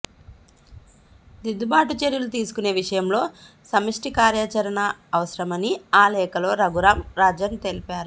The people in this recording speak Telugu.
దిద్దుబాటు చర్యలు తీసుకునే విషయంలో సమష్టి కార్యాచరణ అవసరమని ఆ లేఖలో రఘురాం రాజన్ తెలిపారు